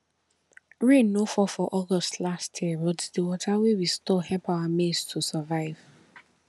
rain no fall for august last year but the water wey we store help our maize to survive